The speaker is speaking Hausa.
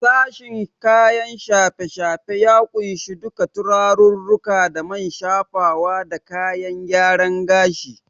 Sashen kayan shafe-shafe ya kunshi duka turarirruka da man shafawa da kayan gyaren gashi.